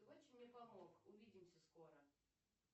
ты очень мне помог увидимся скоро